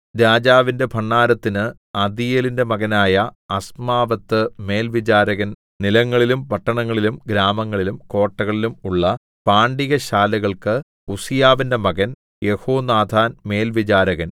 രാജാവിന്റെ ഭണ്ഡാരത്തിന് അദീയേലിന്റെ മകനായ അസ്മാവെത്ത് മേൽവിചാരകൻ നിലങ്ങളിലും പട്ടണങ്ങളിലും ഗ്രാമങ്ങളിലും കോട്ടകളിലും ഉള്ള പാണ്ടികശാലകൾക്ക് ഉസ്സീയാവിന്റെ മകൻ യെഹോനാഥാൻ മേൽവിചാരകൻ